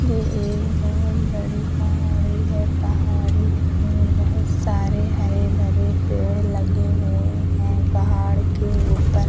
ये एक बहोत बड़ी पहाड़ी है। पहाड़ी में बहोत सारे हरे भरे पेड़ लगे हुए हैं। पहाड़ के ऊपर --